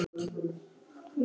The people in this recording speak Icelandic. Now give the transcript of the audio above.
Og ballið er ekki byrjað.